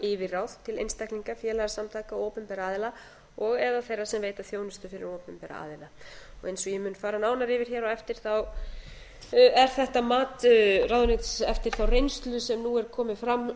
þannig að rekja megi eignarhald og eða þeirra sem veita þjónustu fyrir opinbera aðila eins og ég mun fara nánar yfir hér á eftir er þetta mat ráðuneytisins eftir þá reynslu sem nú er komin fram